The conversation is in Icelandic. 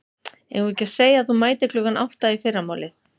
Eigum við ekki að segja að þú mætir klukkan átta í fyrramálið.